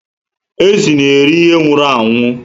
Ezi na eri ihe nwụrụ anwụ